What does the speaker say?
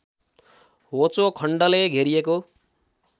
होचो खण्डले घेरिएको